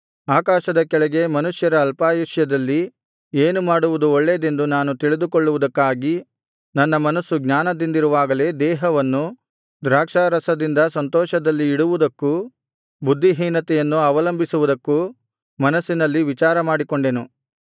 ಆಕಾಶದ ಕೆಳಗೆ ಮನುಷ್ಯರ ಅಲ್ಪಾಯುಷ್ಯದಲ್ಲಿ ಏನು ಮಾಡುವುದು ಒಳ್ಳೆಯದೆಂದು ನಾನು ತಿಳಿದುಕೊಳ್ಳುವುದಕ್ಕಾಗಿ ನನ್ನ ಮನಸ್ಸು ಜ್ಞಾನದಿಂದಿರುವಾಗಲೇ ದೇಹವನ್ನು ದ್ರಾಕ್ಷಾರಸದಿಂದ ಸಂತೋಷದಲ್ಲಿ ಇಡುವುದಕ್ಕೂ ಬುದ್ಧಿಹೀನತೆಯನ್ನು ಅವಲಂಬಿಸುವುದಕ್ಕೂ ಮನಸ್ಸಿನಲ್ಲಿ ವಿಚಾರಮಾಡಿಕೊಂಡೆನು